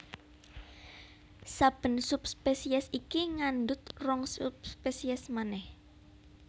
Saben subspesies iki ngandhut rong subspesies manèh